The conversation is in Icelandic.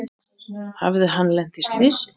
Hafði hann lent í slysi?